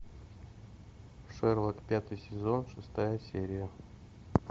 шерлок пятый сезон шестая серия